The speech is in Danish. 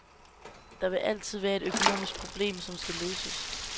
Der vil altid være et økonomisk problem, som skal løses.